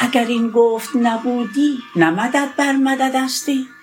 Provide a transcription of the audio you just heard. اگر این گفت نبودی نه مدد بر مددستی